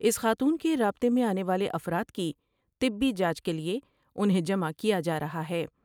اس خاتون کے رابلے میں آنے والے افراد کی طبی جانچ کے لئے انہیں جمع کیا جار ہا ہے ۔